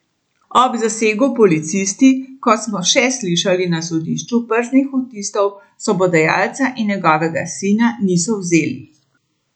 Ob zasegu policisti, kot smo še slišali na sodišču, prstnih odtisov sobodajalca in njegovega sina niso vzeli.